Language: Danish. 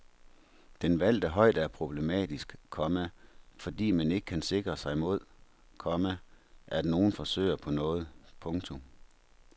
Den valgte højde er problematisk, komma fordi man ikke kan sikre sig mod, komma at nogen forsøger på noget. punktum